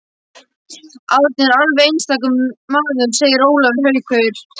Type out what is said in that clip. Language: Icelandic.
Árni er alveg einstakur maður segir Ólafur Haukur.